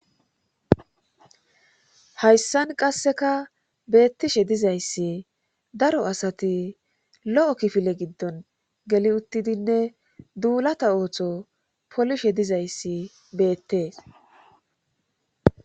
Hayssan qasseka beettishe dizayssi daro asati lo7o kifile giddon geli uttidinne duulata ooththo polishe dizayssi beettees